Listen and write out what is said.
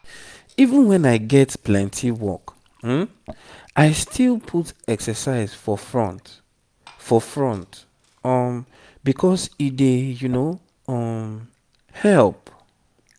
even when i get plenty work i still put exercise for front for front um because e dey um help.